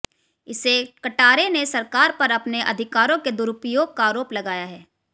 इसे कटारे ने सरकार पर अपने अधिकारों के दुरुपयोग का आरोप लगाया है